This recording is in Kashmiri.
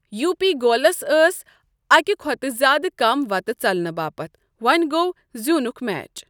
یو پی گولس ٲسۍ اکہ کھۅتہٕ زیادٕ کم وتہٕ ژلنہٕ باپتھ وۄنۍ گوٚۅ زیوٗنکھ میچ۔